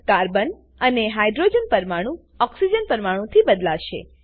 carbon અને hydrogen પરમાણુ oxygen પરમાણુ થી બદલાશે